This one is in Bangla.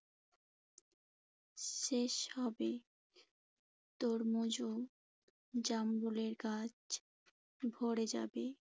শেষ হবে। তরমুজ ও জামরুলের গাছ ভরে যাবে।